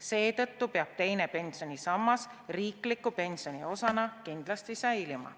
Seetõttu peab teine pensionisammas riikliku pensioni osana kindlasti säilima.